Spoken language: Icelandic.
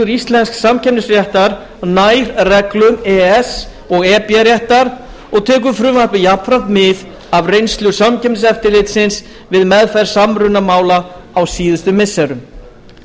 íslensks samkeppnisréttar nær reglum e e s og e b réttar og tekur frumvarpið jafnframt mið af reynslu samkeppniseftirlitsins við meðferð samrunamála á síðustu missirum